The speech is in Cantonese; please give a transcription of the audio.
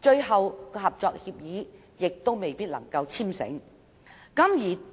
最終合作協議亦未必能簽成。